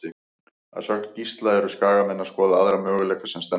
Að sögn Gísla eru Skagamenn að skoða aðra möguleika sem stendur.